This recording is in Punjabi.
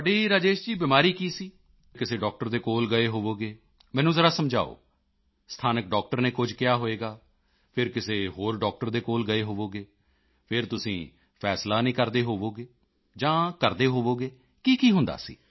ਤੁਹਾਡੀ ਰਾਜੇਸ਼ ਜੀ ਬਿਮਾਰੀ ਕੀ ਸੀ ਫਿਰ ਕਿਸੇ ਡਾਕਟਰ ਦੇ ਕੋਲ ਗਏ ਹੋਵੋਗੇ ਮੈਨੂੰ ਜ਼ਰਾ ਸਮਝਾਓ ਸਥਾਨਕ ਡਾਕਟਰ ਨੇ ਕੁਝ ਕਿਹਾ ਹੋਵੇਗਾ ਫਿਰ ਕਿਸੇ ਹੋਰ ਡਾਕਟਰ ਦੇ ਕੋਲ ਗਏ ਹੋਵੋਗੇ ਫਿਰ ਤੁਸੀਂ ਫੈਸਲਾ ਨਹੀਂ ਕਰਦੇ ਹੋਵੋਗੇ ਜਾਂ ਕਰਦੇ ਹੋਵੋਗੇ ਕੀਕੀ ਹੁੰਦਾ ਸੀ